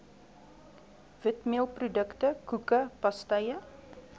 witmeelprodukte koeke pastye